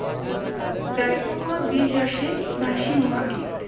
গাইব আমরা বীর রসে ভাসিয়ে মহাগীত